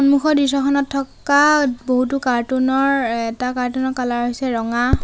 সন্মুখৰ দৃশ্যখনত থকা বহুতো কাৰ্টুন ৰ এ এটা কাৰ্টুন ৰ কালাৰ হৈছে ৰঙা।